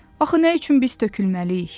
Axı nə üçün biz tökülməliyik?